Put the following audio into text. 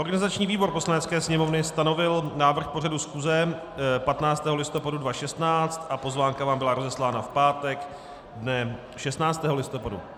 Organizační výbor Poslanecké sněmovny stanovil návrh pořadu schůze 15. listopadu 2016 a pozvánka vám byla rozeslána v pátek dne 16. listopadu.